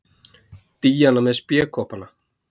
Díana með spékoppana.